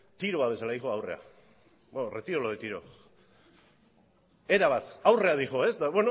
tiro bat bezala doa aurrera bueno retiro lo de tiro